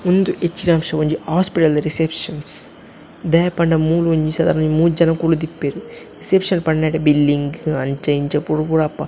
ಉಂದು ಹೆಚ್ಚಿನಾಂಶ ಒಂಜಿ ಹಾಸ್ಪಿಟಲ್ ದ ರಿಸೆಪ್ಷನ್ ದಾಯೆ ಪಂಡ ಮೂಲೊಂಜಿ ಸದಾರಣ ಒಂಜಿ ಮೂಜಿ ಜನ ಕುಲ್ಲುದಿಪ್ಪೆರ್ ರಿಸೆಪ್ಷನ್ ಪಂಡ ನೆಟೆ ಬಿಲ್ಲಿಂಗ್ ಅಂಚ ಇಂಚ ಪೂರ ಪೂರ ಅಪ್ಪ.